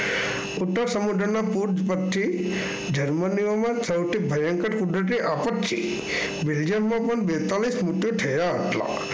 ઉત્તર સમુદ્રના પૂર્વ પથથી જર્મનીઓમાં સૌથી ભયંકર કુદરતી આફતથી Belgium માં પણ બેતાલીસ મૃત્યુ થયા હતા.